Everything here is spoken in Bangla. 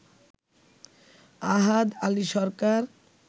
আহাদ আলী সরকার